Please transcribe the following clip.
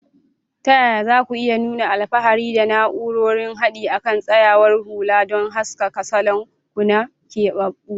Ta yaya za ku iya nuna alfahari da na'urorin haɗi a kan tsayawar hula don haskaka salon ku na keɓaɓɓu?